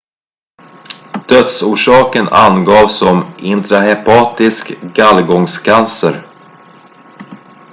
dödsorsaken angavs som intrahepatisk gallgångscancer